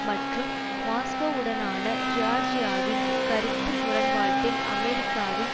மற்றும் மாஸ்கோவுடனான ஜியார்ஜியாவின் கருத்து முரண்பாட்டில் அமெரிக்காவின்